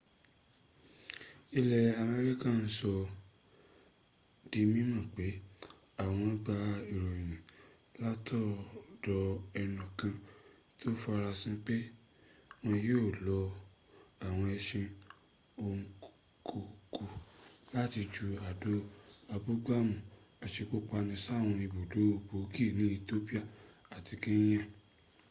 ilẹ̀ america sọ ọ́ di mímọ̀ pé àwọn gba ìròyìn látọ̀dọ̀ ẹnùkan tó farasin pé wọ́n yío lo àwọn ẹṣin ò kọ kú láti ju àdó abúgbàmù asekúpani sáwọn ibùdó gbòógì ní ethiopia àti kenya